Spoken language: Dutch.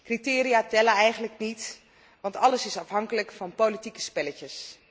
Criteria tellen eigenlijk niet, want alles is afhankelijk van politieke spelletjes.